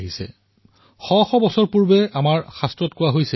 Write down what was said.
তস্মাদ ব্যাঘ্ৰো বনং ৰক্ষেত বনং ব্যাঘ্ৰং ন পাল্যেত